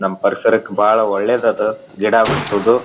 ನಮ್ ಪರಿಸರಕ್ ಬಹಳ ಒಳ್ಳೇದ್ ಆತು ಗಿಡ ಬೆಳೆಸೋದು.